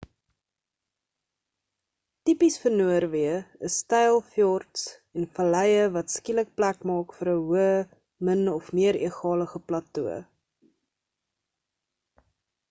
tipies vir noorweë is styl fjords en valleie wat skielik plek maak vir 'n hoë min of meer egalige plato